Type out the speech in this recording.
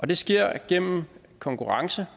det sker gennem konkurrence